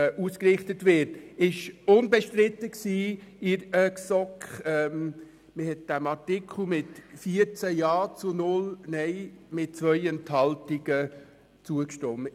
Das war in der GSoK unbestritten, und man hat diesem Artikel mit 14 Ja- gegen 0 Nein-Stimmen bei 2 Enthaltungen zugestimmt.